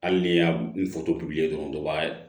Hali ni y'a n dɔrɔn o b'a